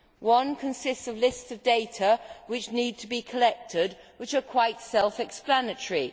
One consists of lists of data which need to be collected and which are quite self explanatory.